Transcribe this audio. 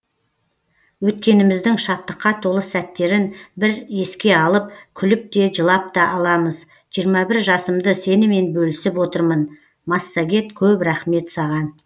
өткеніміздің шаттыққа толы сәттерін бір еске алып күліп те жылап та аламыз жиырма бір жасымды сенімен бөлісіп отырмын массагет көп рақмет саған